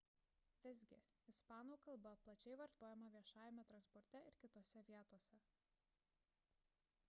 visgi ispanų kalba plačiai vartojama viešajame transporte ir kitose vietose